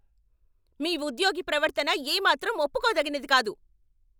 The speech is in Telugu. మీ ఉద్యోగి ప్రవర్తన ఏమాత్రం ఒప్పుకోతగినది కాదు.